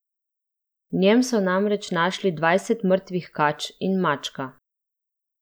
V njem so namreč našli dvajset mrtvih kač in mačka.